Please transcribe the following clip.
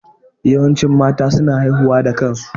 Yawancin mata su na haihuwa da kansu